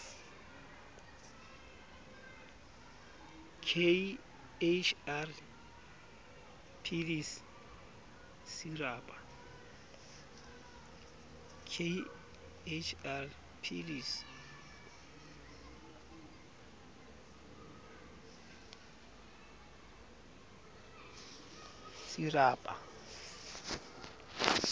k h r pilisi sirapa